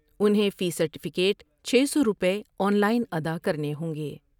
انہیں فی سرٹیفکٹ چھ سو روپے آن لائن ادا کرنے ہوں گے ۔